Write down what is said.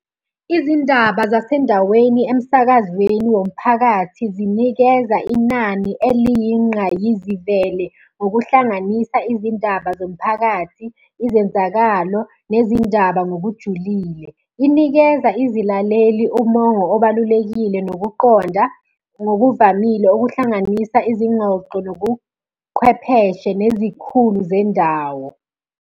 Izindaba zasendaweni emsakazweni womphakathi zinikeza inani eliyinqayizivele ngokuhlanganisa izindaba zomphakathi, izenzakalo nezindaba ngokujulile. Inikeza izilaleli umongo obalulekile nokuqonda ngokuvamile okuhlanganisa izingxoxo nobuqhwepheshe nezikhulu zendawo.